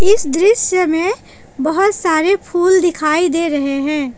इस दृश्य में बहोत सारे फूल दिखाई दे रहे हैं।